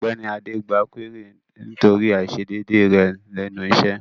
Ògbéni adé gba kúérì nítorí àisédédé rẹ̀ lẹ́nu isẹ́